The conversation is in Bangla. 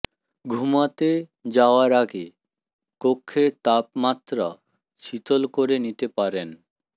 ঘুমাতে যাওয়ার আগে কক্ষের তাপমাত্রা শীতল করে নিতে পারেন